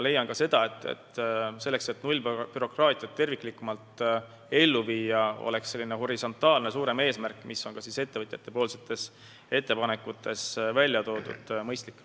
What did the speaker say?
Minagi leian, et selleks, et nullbürokraatiat terviklikumalt ellu viia, on selline suur horisontaalne eesmärk, mis on ka ettevõtjate ettepanekutes välja toodud, igati mõistlik.